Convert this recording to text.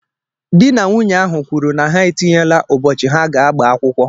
Di na nwunye ahụ kwuru na ha etinyela ụbọchị ha ga-agba akwụkwọ.